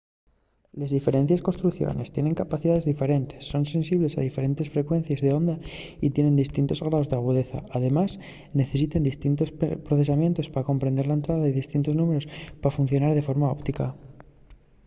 les diferentes construcciones tiene capacidaes diferentes son sensibles a diferentes frecuencies d’onda y tienen distintos graos d’agudeza. además necesiten distintos procesamientos pa comprender la entrada y distintos númberos pa funcionar de forma óptima